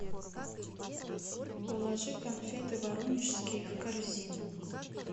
положи конфеты воронежские в корзину